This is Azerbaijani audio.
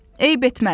Eyib etməz.